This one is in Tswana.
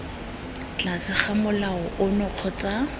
tlase ga molao ono kgotsa